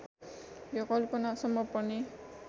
यो कल्पना सम्म पनि